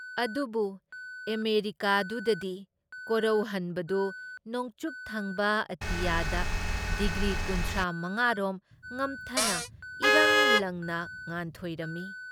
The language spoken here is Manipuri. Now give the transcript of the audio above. ꯑꯗꯨꯕꯨ ꯑꯃꯦꯔꯤꯀꯥꯗꯨꯗꯗꯤ ꯀꯣꯔꯧꯍꯟꯕꯗꯨ ꯅꯣꯡꯆꯨꯞꯊꯪꯕ ꯑꯇꯤꯌꯥꯗ ꯗꯤꯒ꯭ꯔꯤ ꯀꯨꯟꯊ꯭ꯔꯥ ꯃꯉꯥꯔꯣꯝ ꯉꯝꯊꯅ ꯏꯔꯪ ꯂꯪꯅ ꯉꯥꯟꯊꯣꯏꯔꯝꯃꯤ ꯫